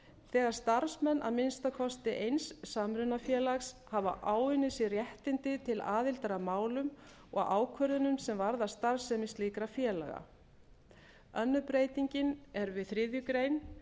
þegar starfsmenn að minnsta kosti eins yfirtökufélags hafa áunnið sér réttindi til aðildar að málum og ákvörðunum sem varða starfsemi slíkra félaga önnur breytingin er við þriðju grein